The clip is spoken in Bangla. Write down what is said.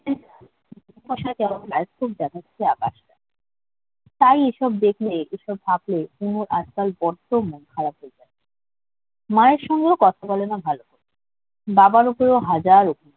অসাল কেমন আকাশ্টা তাই এই সব দেখে এইসব ভাবলে কুমুর আজকাল বড্ড মন খারাপ হয়ে যায় মায়ের সাথেও কথা বলে না ভালো। বাবার উপরেও হাজার অভিমান